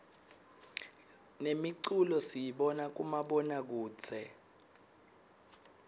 nemiculo siyibona kubomabonakudze